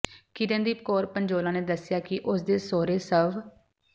ਕਿਰਨਦੀਪ ਕੌਰ ਪੰਜੋਲਾ ਨੇ ਦੱਸਿਆ ਕਿ ਉਸ ਦੇ ਸਹੁਰੇ ਸਵ